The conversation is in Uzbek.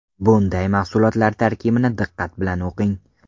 Bunday mahsulotlar tarkibini diqqat bilan o‘qing.